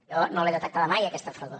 jo no l’he detectada mai aquesta fredor